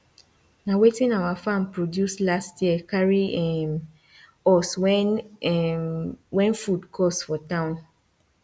na wetin our farm produce last year carry um us when um when food cost for town